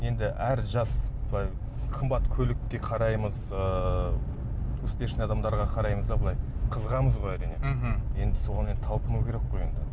енді әр жас былай қымбат көлікке қараймыз ыыы успешный адамдарға қараймыз да былай қызығамыз ғой әрине мхм енді соған енді талпыну керек қой енді